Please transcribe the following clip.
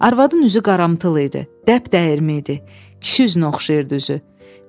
Arvadın üzü qaramtıl idi, dəbdəyirmi idi, kişi üzünə oxşayırdı üzü.